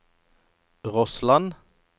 Rossland